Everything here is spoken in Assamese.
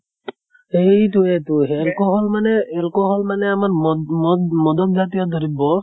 সেইতোয়েটো alcohol মানে alcohol মানে আমাৰ মদ মদ মদক জাতিয় দ্ৰৈব্য়